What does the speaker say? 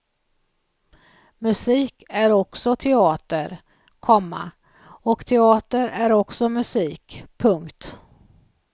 Musik är också teater, komma och teater är också musik. punkt